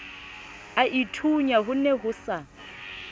aithunya ho ne ho sa